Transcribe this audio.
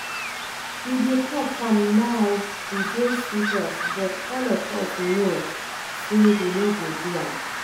He dey talk am now e dey sweet us but all of us know say he no go do am